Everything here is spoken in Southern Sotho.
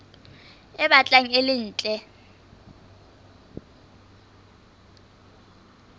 e batlang e le ntle